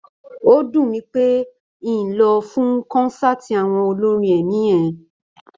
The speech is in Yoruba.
Ó dùn mí pé n ò lè lọ fún kọ́nsáàti àwọn olórin ẹ̀mí yẹn